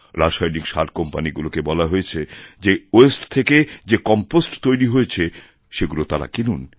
রাসায়নিক সারকোম্পানিগুলিকে বলা হয়েছে যে ওয়াস্তে থেকে যে কম্পোস্ট তৈরি হয়েছে সেগুলো তারা কিনুক